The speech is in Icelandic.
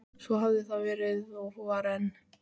Svo hafði það verið og var enn.